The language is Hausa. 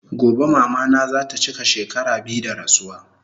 Gobe mama na zata chika shekara biyu da rasuwa